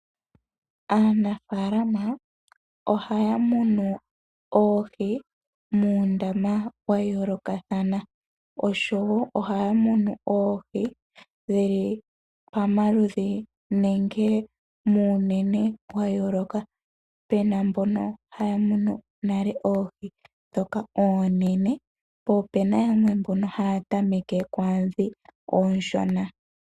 Aanafaalama ohaya munu oohi muundama wa yoolokathana, oshowo ohaya munu oohi dhi li pamaludhi nenge muunene wa yooloka. Pu na mbono haya munu nale oohi ndhoka oonene po ope na mboka haya tameke kwaa ndhoka oonshona.